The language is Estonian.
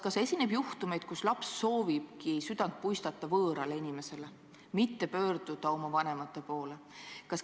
Kas esineb juhtumeid, kus laps soovibki südant puistata võõrale inimesele, mitte pöörduda oma vanemate poole?